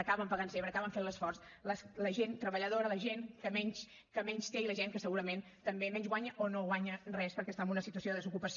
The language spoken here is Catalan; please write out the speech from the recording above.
acaben pagant sempre acaben fent l’esforç la gent treballadora la gent que menys té i la gent que segurament també menys guanya o no guanya res perquè està en una situació de desocupació